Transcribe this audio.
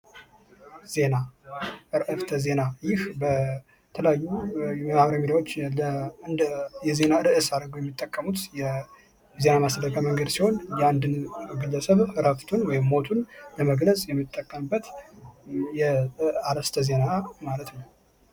ዜና ዕረፍት ዜና ይህ በተለያዩ የአማራ ሚዲያዎች እንደ እንደ የዜና ርዕስ አድርገው የሚጠቀሙት የዜና ማሰራጫ መንገድ ሲሆን፤ የአንድን ግለሰብ ረፍቱን ወይም ሞቱን ለመግለጽ የሚጠቀሙበት አርስተ ዜና ማለት ነው።